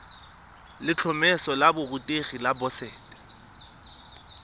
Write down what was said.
letlhomeso la borutegi la boset